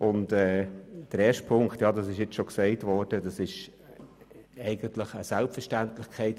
Ziffer 1 ist, wie bereits erwähnt worden ist, eine Selbstverständlichkeit: